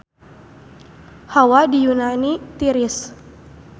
Hawa di Yunani tiris